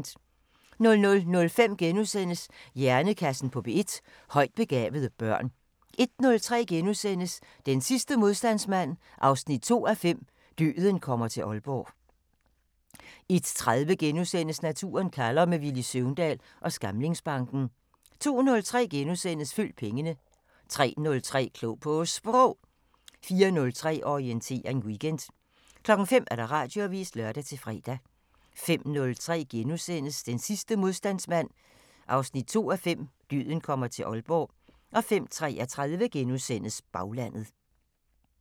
00:05: Hjernekassen på P1: Højt begavede børn * 01:03: Den sidste modstandsmand 2:5 – Døden kommer til Aalborg * 01:30: Naturen kalder – med Villy Søvndal ved Skamlingsbanken * 02:03: Følg pengene * 03:03: Klog på Sprog 04:03: Orientering Weekend 05:00: Radioavisen (lør-fre) 05:03: Den sidste modstandsmand 2:5 – Døden kommer til Aalborg * 05:33: Baglandet *